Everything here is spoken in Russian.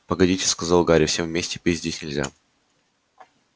погодите сказал гарри всем вместе пить здесь нельзя